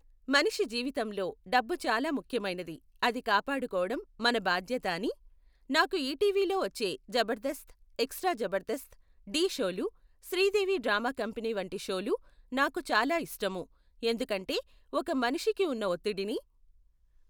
మనిషి జీవితంలో డబ్బు చాలా ముఖ్యమైనది. అది కాపాడుకోవడం మన బాధ్యత అని నాకు ఈటీవీలో వచ్చే జబర్దస్త్ ఎక్సట్రా జబర్దస్త్ ఢీ షోలు శ్రీదేవి డ్రామా కంపెనీ వంటి షోలు నాకు చాలా ఇష్టము. ఎందుకంటే ఒక మనిషికి ఉన్న ఒత్తిడిని